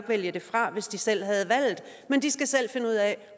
vælge det fra hvis de selv havde valget men de skal selv finde ud af